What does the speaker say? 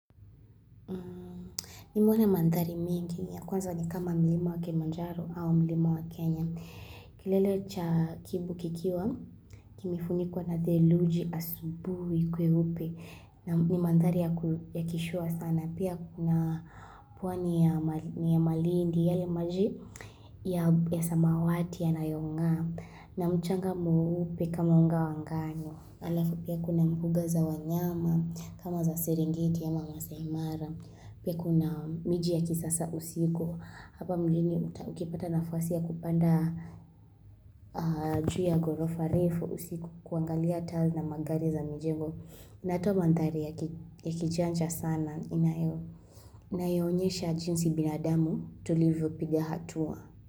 Nimeona mandhari mingi ya kwanza ni kama mlima wa kemanjaro au mlima wa kenya. Kilele cha kibu kikiwa, kimefunikuwa na theluji asubui kweupe. Ni mandhari ya kishua sana. Pia kuna pwani ya malindi yale maji ya samawati yanayongaa. Na mchanga mweupe kama unga wa ngano. Alafu pia kuna mbuga za wanyama kama za serengiti ama masaimara. Pia kuna miji ya kisasa usiko hapa mjini ukipata nafasi ya kupanda juu ya gorofa refu usiku kuangalia taa na magari za mijengo inatoa mandhari ya kijanja sana inayoonyesha jinsi binadamu tulivyo piga hatua.